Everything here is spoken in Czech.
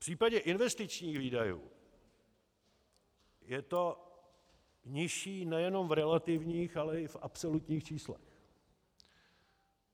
V případě investičních výdajů je to nižší nejenom v relativních, ale i v absolutních číslech.